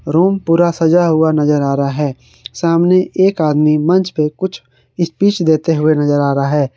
Room पूरा सजा हुआ नजर आ रहा है सामने एक आदमी मंच पर कुछ स्पीच देते हुए नजर आ रहा है।